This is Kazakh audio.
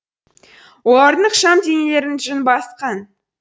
олардың ықшам денелерін жүн басқан